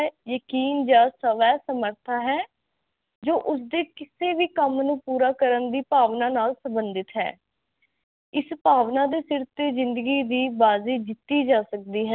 ਯਕੀਨ ਸਬ ਸਵੈ ਸਮਰਥਾ ਹੈ ਜੋ ਉਸਦੇ ਕਿਸੇ ਵੀ ਕੰਮ ਨੂੰ ਪੂਰਾ ਕਰਨ ਦੀ ਭਾਵਨਾ ਨਾਲ ਸੰਬਧਿਤ ਹੈ ਇਸ ਭਾਵਨਾ ਦੇ ਸਿਰ ਤੇ ਜਿੰਦਗੀ ਦੀ ਬਾਜ਼ੀ ਜਿੱਤੀ ਜਾ ਸਕਦੀ ਹੈ